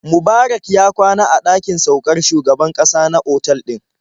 Mubarak ya kwana a ɗakin saukar shugaban ƙasa na otal ɗin.